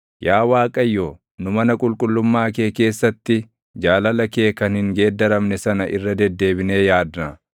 Yaa Waaqayyo, nu mana qulqullummaa kee keessatti, jaalala kee kan hin geeddaramne sana irra deddeebinee yaadna.